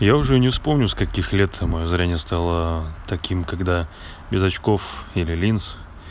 я уже и не вспомню с каких лет там зрение стало таким когда без очков или линз